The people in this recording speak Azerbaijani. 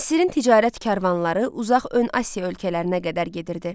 Misrin ticarət karvanları uzaq ön Asiya ölkələrinə qədər gedirdi.